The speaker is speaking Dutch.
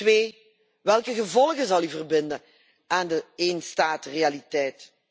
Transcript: Twee, welke gevolgen zal u verbinden aan de éénstaatrealiteit?